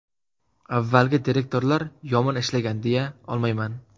Avvalgi direktorlar yomon ishlagan, deya olmayman.